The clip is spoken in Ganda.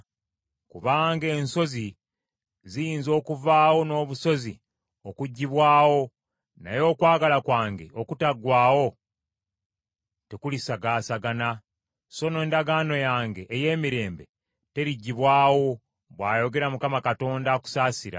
Kubanga ensozi ziyinza okuvaawo n’obusozi okuggyibwawo naye okwagala kwange okutaggwaawo tekulisagaasagana so n’endagaano yange ey’emirembe teriggyibwawo,” bw’ayogera Mukama Katonda akusaasira.